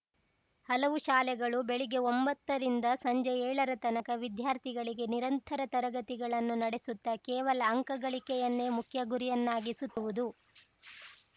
ಹಲವು ಶಾಲೆಗಳು ಬೆಳಿಗ್ಗೆ ಒಂಬತ್ತರಿಂದ ಸಂಜೆ ಏಳರ ತನಕ ವಿದ್ಯಾರ್ಥಿಗಳಿಗೆ ನಿರಂತರ ತರಗತಿಗಳನ್ನು ನಡೆಸುತ್ತಾ ಕೇವಲ ಅಂಕಗಳಿಕೆಯನ್ನೇ ಮುಖ್ಯಗುರಿಯನ್ನಾಗಿಸುತ್ತಿರುವುದು